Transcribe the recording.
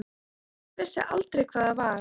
Hún vissi aldrei hvað það var.